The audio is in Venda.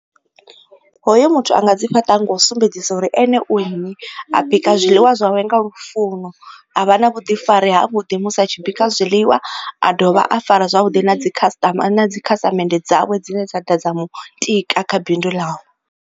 Hoyo muthu a nga dzi fhaṱa nga u sumbedzisa uri ene u nnyi. A bika zwiḽiwa zwawe nga lufuno, a vha na vhuḓifari ha vhuḓi musi a tshi bika zwiḽiwa, a dovha a fara zwavhuḓi na dzi khasiṱama a na dzi khasiṱamende dzawe dzine dza ḓa dza mu tika kha bindu ḽawe.